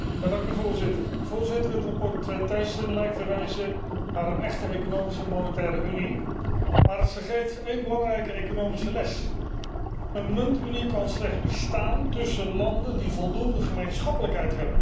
Voorzitter, het verslag Thyssen lijkt te wijzen naar een echte Economische en Monetaire Unie, maar het vergeet één belangrijke economische les een muntunie kan slechts bestaan tussen landen die voldoende gemeenschappelijkheid hebben.